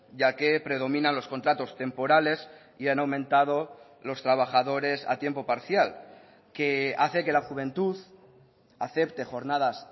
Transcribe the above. ya que predominan los contratos temporales y han aumentado los trabajadores a tiempo parcial que hace que la juventud acepte jornadas